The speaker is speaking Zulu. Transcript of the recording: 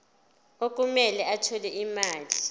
okumele athole imali